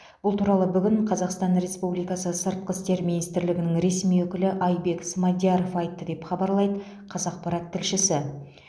бұл туралы бүгін қазақстан республикасы сыртқы істер министрлігінің ресми өкілі айбек смадияров айтты деп хабарлайды қазақпарат тілшісі